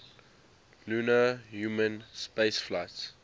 lunar human spaceflights